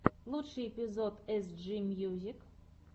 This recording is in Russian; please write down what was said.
лучший эпизод эсджи мьюзик